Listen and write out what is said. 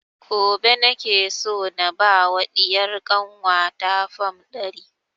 Gobe nake so na ba wa ɗiyar kanwa ta fam ɗari